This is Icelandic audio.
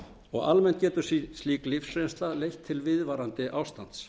áfallastreituröskun almennt getur slík lífsreynsla leitt til viðvarandi ástands